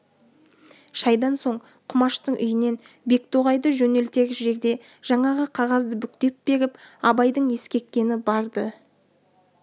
шайдан соң құмаштың үйінен бектоғайды жөнелтер жерде жаңағы қағазды бүктеп беріп абайдың ескерткені бар-ды